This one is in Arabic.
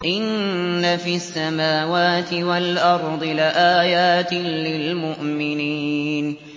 إِنَّ فِي السَّمَاوَاتِ وَالْأَرْضِ لَآيَاتٍ لِّلْمُؤْمِنِينَ